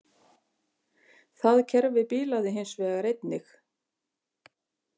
Það kerfi bilaði hins vegar einnig